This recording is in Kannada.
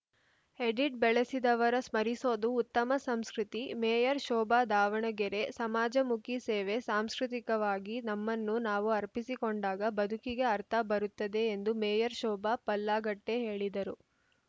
ಎಡಿಟ್‌ ಬೆಳೆಸಿದವರ ಸ್ಮರಿಸೋದು ಉತ್ತಮ ಸಂಸ್ಕೃತಿ ಮೇಯರ್‌ ಶೋಭಾ ದಾವಣಗೆರೆ ಸಮಾಜಮುಖಿ ಸೇವೆ ಸಾಂಸ್ಕೃತಿವಾಗಿ ನಮ್ಮನ್ನು ನಾವು ಅರ್ಪಿಸಿಕೊಂಡಾಗ ಬದುಕಿಗೆ ಅರ್ಥ ಬರುತ್ತದೆ ಎಂದು ಮೇಯರ್‌ ಶೋಭಾ ಪಲ್ಲಾಗಟ್ಟೆಹೇಳಿದರು